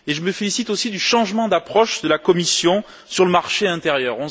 Je me félicite aussi du changement d'approche de la Commission sur le marché intérieur.